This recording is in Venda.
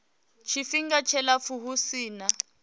tshifhinga tshilapfu hu si na